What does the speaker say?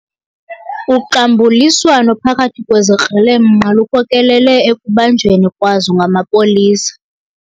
Uxambuliswano phakathi kwezikrelemnqa lukhokelele ekubanjweni kwazo ngamapolisa.